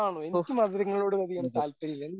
ഓഹ് അതെ